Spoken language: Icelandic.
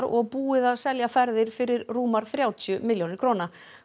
og búið að selja ferðir fyrir rúmar þrjátíu milljónir króna